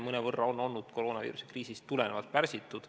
See on olnud koroonaviiruse kriisist tulenevalt mõnevõrra pärsitud.